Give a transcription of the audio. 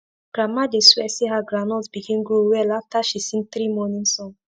grandma dey swear say her groundnut begin grow well after she sing three morning song